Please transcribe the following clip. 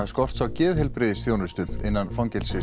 skorts á geðheilbrigðisþjónustu innan